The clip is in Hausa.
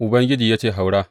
Ubangiji ya ce, Haura.